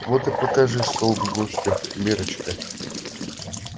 вот и покажи столб гостю миррочка